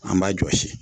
An b'a jɔsi